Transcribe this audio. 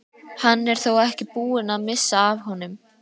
Hann er þó ekki búinn að missa af honum!